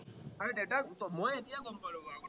মানে দেউতাক, মই এতিয়া গম পালো বাৰু কথাটো